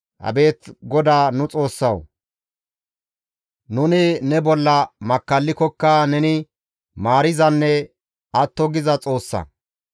Abeet GODAA nu Xoossawu! Nuni ne bolla makkallikokka neni maarizanne atto giza Xoossa.